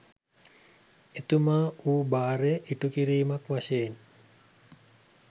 එතුමා වූ භාරය ඉටුකිරීමක් වශයෙන්